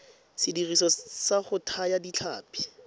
sediriswa sa go thaya ditlhapi